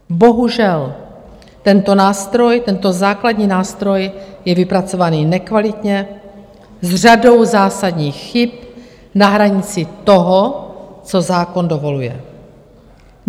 Bohužel, tento nástroj, tento základní nástroj, je vypracovaný nekvalitně, s řadou zásadních chyb na hranici toho, co zákon dovoluje.